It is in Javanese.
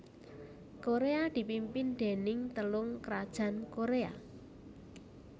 Koréa dipimpin déning Telung krajan Koréa